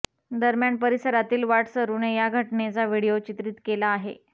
दरम्यान परिसरातील वाटसरुने या घटनेचा व्हिडिओ चित्रीत केला आहे